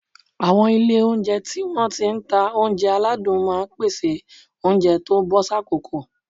Àwọn ilé oúnjẹ tí wọ́n ti ń ta oúnjẹ aládùn máa ń pèsè oúnjẹ tó bọ́ sákòókò